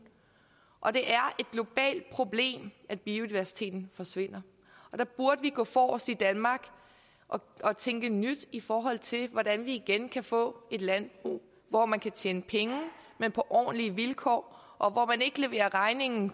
og det er et globalt problem at biodiversiteten forsvinder og der burde vi gå forrest i danmark og tænke nyt i forhold til hvordan vi igen kan få et landbrug hvor man kan tjene penge men på ordentlige vilkår og hvor man ikke leverer regningen